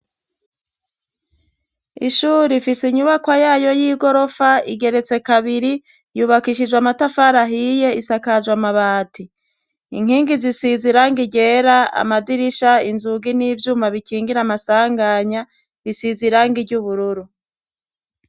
Ishuru ifise inyubaka yayo y'i gorofa igeretse kabiri yubakishijwe amatafarahiye isakajwe amabati inkingi zisiza iranga irgera amadirisha inzugi n'ivyuma bikingira amasanganya isiza iranga iry'ubururu.